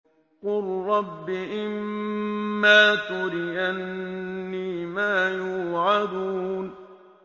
قُل رَّبِّ إِمَّا تُرِيَنِّي مَا يُوعَدُونَ